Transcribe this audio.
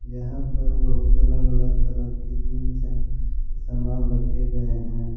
यहां पर बहुत अलग अलग तरह के जीम समान रखे गए हैं।